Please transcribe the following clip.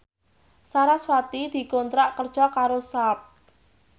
sarasvati dikontrak kerja karo Sharp